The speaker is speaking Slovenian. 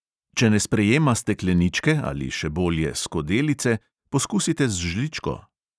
Če ne sprejema stekleničke ali, še bolje, skodelice, poskusite z žličko.